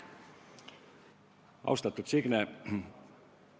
Austatud Signe!